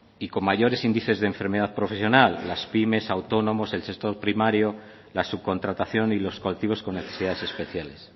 y con mayores índices de enfermedad profesiones las pymes autónomos el sector primario la subcontratación y los colectivos con necesidades especiales